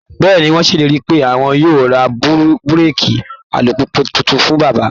Bẹ́ẹ̀ ni, wọ́n ṣèlérí pé àwọn yóò ra búréèkì alùpùpù tuntun fún bàbá